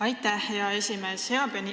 Aitäh, hea esimees!